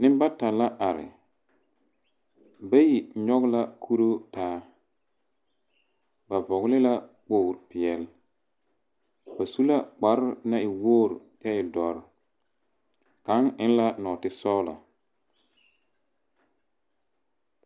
Nembata la are bayi nyɔge la kuruu ta aba vɔgela kpogili peɛle. Ba su la kpare naŋ e wogiri kyɛe dɔre. Kaŋ eŋ la nɔɔte sɔgelɔ.